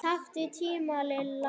Taktu tímann Lilla!